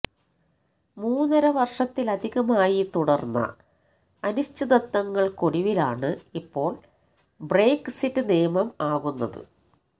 മൂന്നര വർഷത്തിലധികമായി തുടര്ന്ന അനിശ്ചിതത്വങ്ങൾക്കൊടുവിലാണ് ഇപ്പോൾ ബ്രെക്സിറ്റ് നിയമം ആകുന്നത്